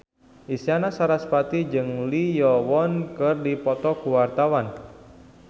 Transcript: Isyana Sarasvati jeung Lee Yo Won keur dipoto ku wartawan